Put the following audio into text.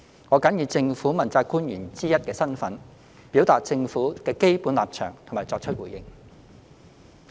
我謹以政府問責官員之一的身份，表達政府的基本立場及作出回應。